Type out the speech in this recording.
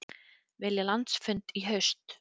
Vilja landsfund í haust